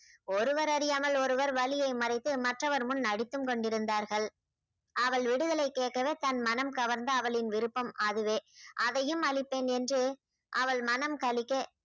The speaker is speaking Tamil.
ஒருவர் அறியாமல் ஒருவர் வலியை மறைத்து மற்றவர் முன் நடித்தும் கொண்டிருந்தார்கள் அவள் விடுதலை கேட்கவே தன் மனம் கவர்ந்த அவளின் விருப்பம் அதுவே அதையும் அளிப்பேன் என்று அவள் மனம் கழிக்க